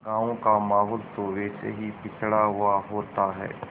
गाँव का माहौल तो वैसे भी पिछड़ा हुआ होता है